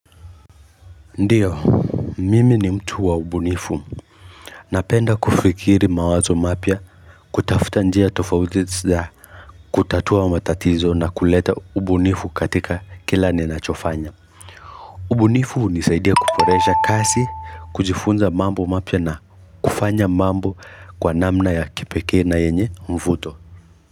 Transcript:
Ndio, mimi ni mtu wa ubunifu, napenda kufikiri mawazo mapya kutafuta njia tofauti za kutatua matatizo na kuleta ubunifu katika kila ninachofanya. Ubunifu hunisaidia kuboresha kazi, kujifunza mambo mapya na kufanya mambo kwa namna ya kipeke na yenye mvuto.